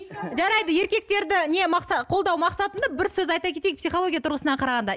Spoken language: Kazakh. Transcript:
жарайды еркектерді не қолдау мақсатында бір сөз айта кетейік психология тұрғысынан қарағанда